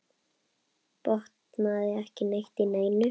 Botnaði ekki neitt í neinu.